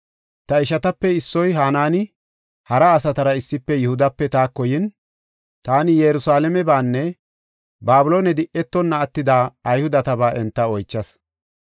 Ta ishatape issoy, Hanaani, hara asatara issife Yihudape taako yin, taani Yerusalaamebanne Babiloone di7etonna attida Ayhudetaba enta oychas.